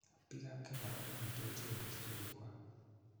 Biikab kenya ko konyiti ochei desturii kwak